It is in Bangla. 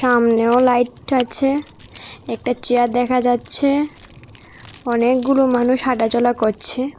আমনেও লাইট আছে একটা চেয়ার দেখা যাচ্ছে অনেকগুলো মানুষ হাঁটা চলা করছে।